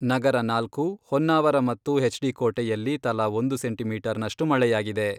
ನಗರ ನಾಲ್ಕು, ಹೊನ್ನಾವರ ಮತ್ತು ಎಚ್ಡಿ ಕೋಟೆಯಲ್ಲಿ ತಲಾ ಒಂದು ಸೆಂಟಿಮೀಟರ್ ನಷ್ಟು ಮಳೆಯಾಗಿದೆ.